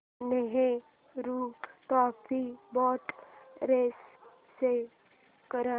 Nehru trophy boat race show कर